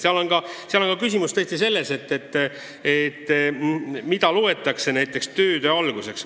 Samas, küsimus on tõesti ka selles, mida loetakse tööde alguseks.